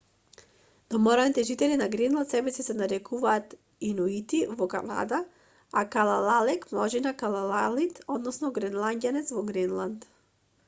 домородните жители на гренланд себеси се нарекуваат инуити во канада а калаалек множина калаалит односно гренланѓанец во гренланд